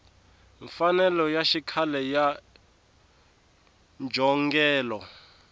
mfanelo ya xikhale ya njhongelo